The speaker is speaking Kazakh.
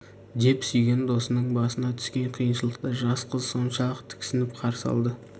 деп сүйген досының басына түскен қиыншылықты жас қыз соншалық тіксініп қарсы алды